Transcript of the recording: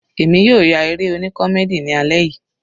Èmi yóò ya eré oní comdey ni alẹ́ yìí.